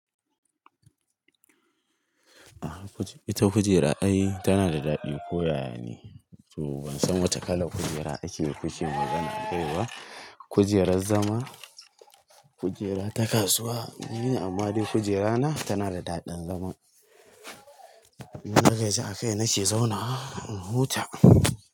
Ita kujera ai tana da daɗi koyaya ne, to ban san wace kalar kujera ake kuke magana a kai ba. Kujerar zama, kujera ta kasuwa. Ni amma dai kujerana tana da daɗin zama. In dagaji akai nake zaunawa in huta.